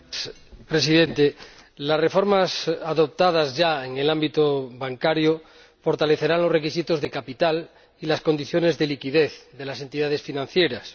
Señor Presidente, las reformas adoptadas ya en el ámbito bancario fortalecerán los requisitos de capital y las condiciones de liquidez de las entidades financieras.